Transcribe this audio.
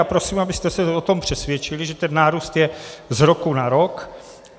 A prosím, abyste se o tom přesvědčili, že ten nárůst je z roku na rok.